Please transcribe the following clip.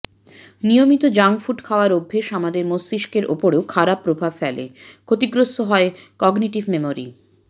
নিয়মিত junk food খাওয়ার অভ্যাস আমাদের মস্তিষ্কের ওপরও খারাপ প্রভাব ফেলে ক্ষতিগ্রস্ত হয় কগনিটিভ মেমরি